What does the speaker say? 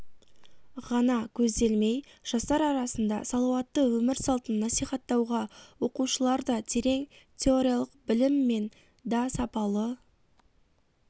ғана көзделмей жастар арасында салауатты өмір салтын насихаттауға оқушыларда терең теориялық білім мен да сапалы